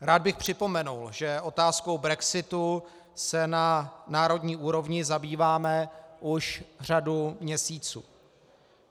Rád bych připomenul, že otázkou brexitu se na národní úrovni zabýváme už řadu měsíců.